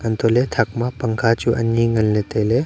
antohle thak ma pangkha chu ani ngan le taile.